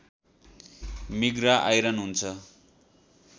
मिग्रा iron हुन्छ